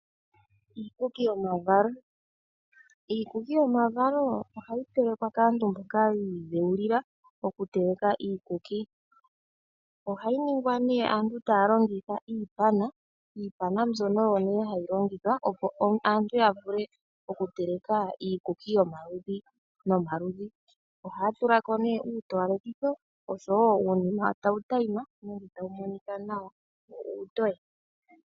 Iikuki yomavalo, iikuki yomavalo ohayi telekwa kaantu mboka yiidhewulila okuteleka iikuki. ohayi ningwa nee aantu taua longitha iipana, iipana mbyono oyo nee hayi longithwa opo aantu yavule okuteleka iikuki yomaludhi nomaludhi, ohaya tulako nee iitowalekitho ,uunima tawu tayima nenge tawumonika nawa wo uutoye.